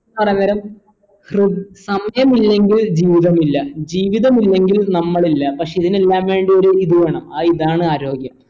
പറയാൻ നേരം സമയമില്ലെങ്കിൽ ജീവിതമില്ല ജീവിതമ്മിലെങ്കിൽ നമ്മളില്ല പക്ഷെ ഇതിനെല്ലാം വേണ്ടി ഒരു ഇത് വേണം ആ ഇതാണ് ആരോഗ്യം